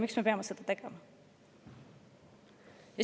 Miks me peame seda tegema?